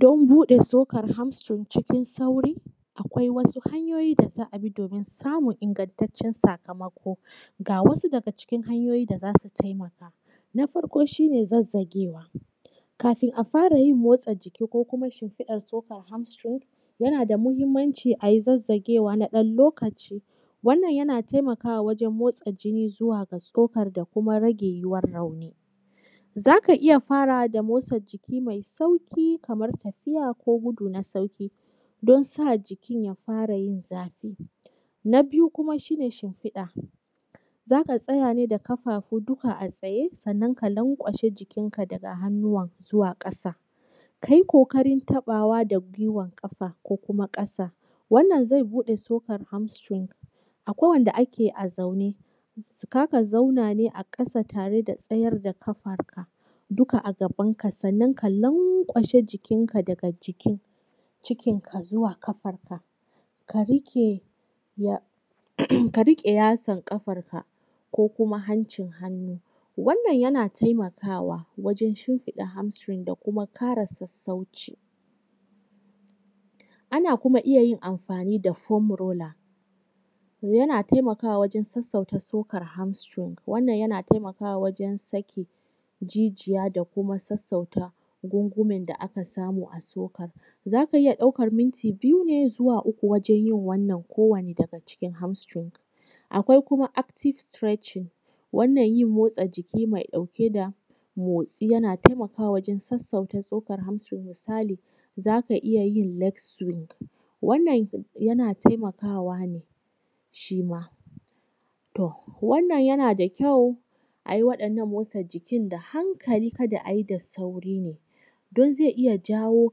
Don buɗe tsokar arm tsring cikin sauri, akwai wasu hanyoyi da za a bi domin samun ingantaccen sakamako. Ga wasu daga cikin hanyoyin da za su taimaka. Na farko shi ne zazzagewa. Kafin a fara yin motsa jiki ko kuma shimfiɗar tsokar arm tsring, yana da muhimmanci a yi zazzagewa na wani ɗan lokaci. Wannan yana taimakawa wajen motsa jini zuwa ga tsokar da kuma rage yiwuwar nauyi. Za ka iya fara da motsa jiki mai sauƙi kamar tafiya ko gudu na sauƙi don sa jikin ya fara yin zafi. Na biyu kuma shi ne shimfiɗa. Za ka tsaya ne da ƙafafu duka a tsaye sannan ka lanƙwashe jikinka daga hannuwa zuwa ƙasa. Kai ƙoƙarin taɓawa da guiwan ƙafa ko kuma ƙasa. Wannan zai buɗe tsokar arm string. Akwai wanda ake a zaune, za ka zauna ne ƙasa tare da tsayar da kafar ka duka a gaban ka sannan ka lanƙwashe jikinka da jikin cikinka zuwa kafanka ka riƙe yatsar kafanka ko kuma hancin hannu. Wannan yana taimakawa wajen shimfiɗe arm string da kuma ƙara sassauci. Ana koma iya yin amfani da foam roller, yana taimakawa wajen sassauta tsokar arm string. Wannan yana taimakawa wajen sakin jijiya da kuma sassauta gungumen da aka samu a tsokar. Za ka iya ɗaukar minti biyu ne zuwa uku wajen yin wannan kowane daga cikin arm string. Akwai kuma active stretching. Wannan yin motsa jiki mai ɗauke da motsi yana taimaka wa jin sassauta tsokar arm string. Misali z aka iya yin leg swingwannan yana taimakawa ne shi ma. To wannan yana da kyau a yi waɗannan motsa jikin da hankali kada a yi da sauri ne, do zai iya jawo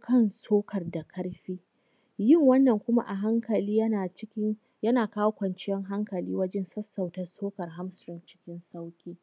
kan tsokar da ƙarfi. Yin wannan kuma a hankali yana cikin, yana kawo kwanciyar hankali wajen sassauta tsokar arm string cikin sauƙi.